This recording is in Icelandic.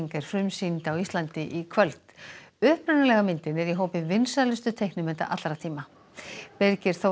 er frumsýnd á Íslandi í kvöld upprunalega myndin er í hópi vinsælustu teiknimynda allra tíma Birgir Þór